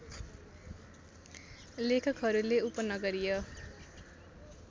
लेखकहरूले उपनगरीय